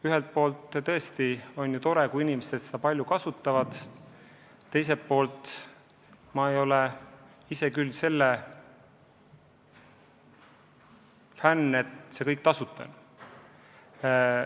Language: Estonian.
Ühelt poolt on tõesti tore, kui inimesed seda palju kasutavad, teiselt poolt ma ei ole ise küll selle fänn, et see kõik tasuta on.